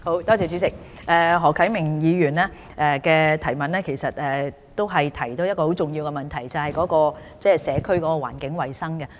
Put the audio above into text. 主席，何啟明議員提出了一個很重要的問題，就是社區環境衞生。